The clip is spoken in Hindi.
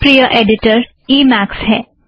मेरा प्रिय ऐड़िटर ई मैक्स है